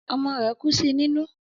Ọmọ rẹ̀ kú sí nínú